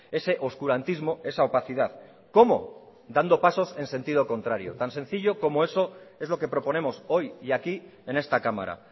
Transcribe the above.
ese oscurantismo esa opacidad cómo dando pasos en sentido contrario tan sencillo como eso es lo que proponemos hoy y aquí en esta cámara